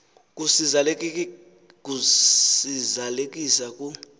kusi zalisekisa ku